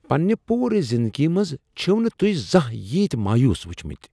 پننہ پورٕ زندگی منٛز چھِو نہ توٚہۍ زانہہ ییتۍ مایوٗس وٕچھمٕتۍ۔